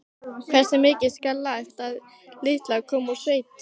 Hversu mikið skal lagt á litla konu úr sveit?